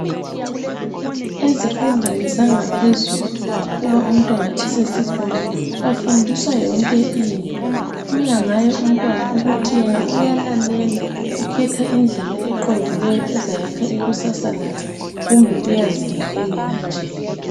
Ezifundweni zangaphezulu, uma umntwana esesikolo bafundiswa yonke into. Kuyangaye umntwana ukuthi yena uyalalela ukhetha indlela eqondileyo ezayakha ikusasa lakhe kumbe uyaziyekelela nje.